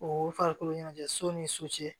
O farikolo ɲɛnajɛ so ni so cɛ